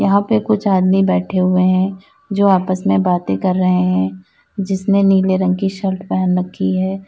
यहां पे कुछ आदमी बैठे हुए हैं जो आपस में बाते कर रहे हैं जिसने नीले रंग की शल्ट पहन रखी है।